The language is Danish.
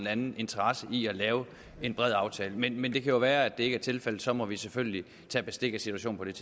anden interesse i at lave en bred aftale men men det kan jo være at det ikke er tilfældet og så må vi selvfølgelig tage bestik af situationen